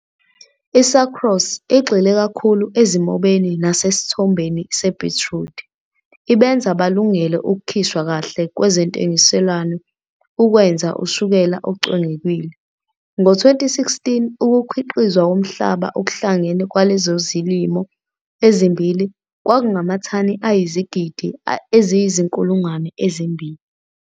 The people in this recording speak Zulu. I-Sucrose igxile kakhulu ezimobeni nasesithombo sebhitrudi, ibenze balungele ukukhishwa kahle kwezentengiselwano ukwenza ushukela ocwengekile. Ngo-2016, ukukhiqizwa komhlaba okuhlangene kwalezo zilimo ezimbili kwakungamathani ayizigidi eziyizinkulungwane ezimbili.